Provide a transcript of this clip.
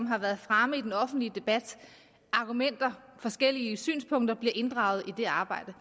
har været fremme i den offentlige debat af argumenter og forskellige synspunkter bliver inddraget i det arbejde